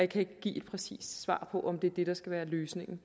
kan ikke give et præcist svar på om det er det der skal være løsningen